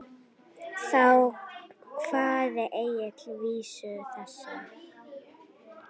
Þá kvað Egill vísu þessa: